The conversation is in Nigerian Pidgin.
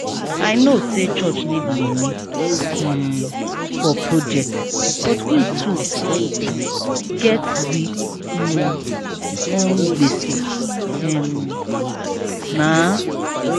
i know sey church need moni um for project but we too get we um own gbese um na.